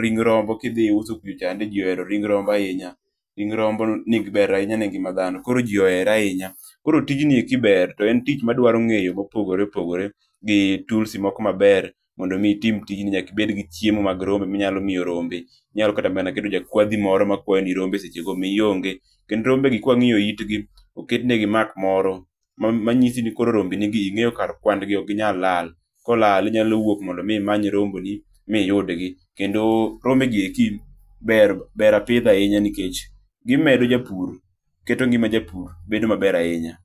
ring rombo kidhi uso kucho chande jii ohero ring rombo ahinya, ring rombo ber ne ngima dhano ,koro jii ohere ahinya. Koro tijni eki ber toen tich madwaro ng'eyo mopogore opogore gi toolsi moko maber, mondo mi itim tijni nyaka ibedgi chiemo mag rombe minyalo miyo rombe, inyalo kata keto jakwadhgi moro makwani rombe sechego mionge. Kendo rombegi ka wang'iyo itgi, oketnegi mark moro manyisi ni rombenigi ing'eyo kar kwan gi, ok ginyal lal, kolal inyalo wuok mondo imanyo rombegi ma iyudgi kendo rombe gieki ber ,ber apidha ahinya nikech gimedo japur, keto ngima japur bedo maber ahinya